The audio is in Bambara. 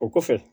O kɔfɛ